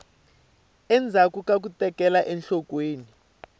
endzhaku ka ku tekela enhlokweni